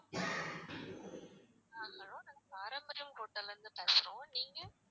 ஆஹ் hello நாங்க பாரம்பரியம் ஹோட்டல்ல இருந்து பேசுறோம். நீங்க?